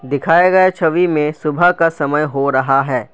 दिखाए गए छवि में सुबह का समय हो रहा है।